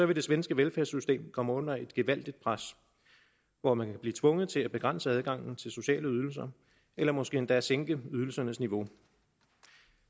det svenske velfærdssystem kommer under et gevaldigt pres hvor man kan blive tvunget til at begrænse adgangen til sociale ydelser eller måske endda sænke ydelsernes niveau